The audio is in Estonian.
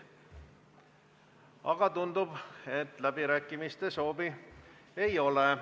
Aga tundub, et läbirääkimiste soovi ei ole.